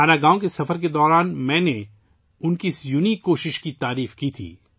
مانا گاؤں کے دورے کے دوران میں نے ان کی انوکھی کوشش کو سراہا تھا